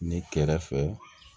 Ne kɛrɛfɛ